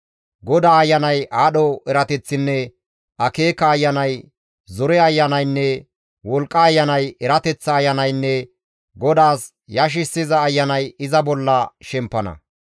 GODAA Ayanay, aadho erateththinne akeeka Ayanay, zore Ayanaynne wolqqa Ayanay, erateththa Ayanaynne GODAAS yashissiza Ayanay iza bolla shemppana.